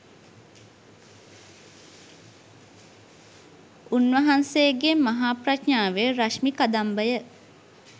උන්වහන්සේගේ මහා ප්‍රඥාවේ රශ්මි කදම්බය